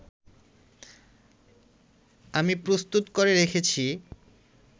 আমি প্রস্তুত করে রেখেছি